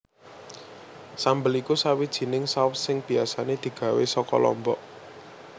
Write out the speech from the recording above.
Sambel iku sawijining saus sing biasané digawé saka lombok